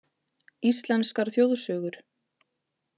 Íslenskar þjóðsögur: